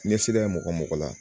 Ɲɛsira ye mɔgɔ mɔgɔ la